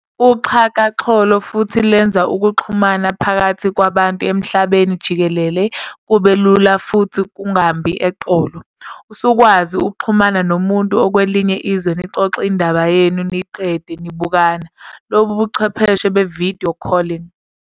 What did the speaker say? UXhakaxholo futhi lwenza ukuxhumana phakathi kwabantu emhlabeni jikelele kube lula futhi kungambi eqolo. Usukwazi ukuxhumana nomuntu okwelinye izwe nixoxe indaba yenu niyiqede nibukana, lobu ubuchwephese be-"video calling".